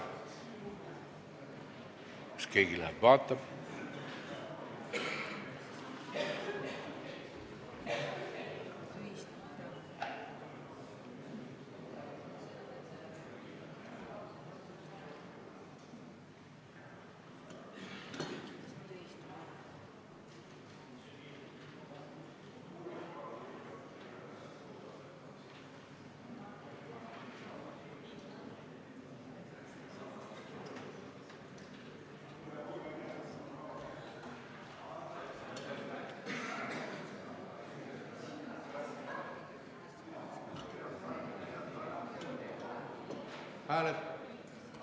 Kas keegi läheb vaatab?